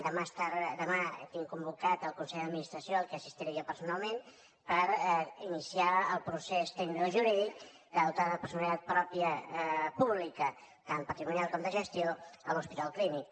demà tinc convocat el consell d’administració al qual assistiré jo personalment per iniciar el procés tecnicojurídic de dotar de personalitat pròpia pública tant patrimonial com de gestió l’hospital clínic